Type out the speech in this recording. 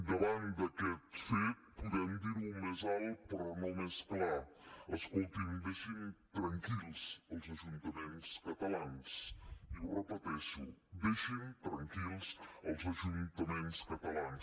davant d’aquest fet podem dir ho més alt però no més clar escoltin deixin tranquils els ajuntaments catalans i ho repeteixo deixin tranquils els ajuntaments catalans